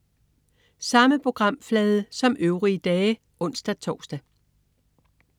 Samme programflade som øvrige dage (ons-tors)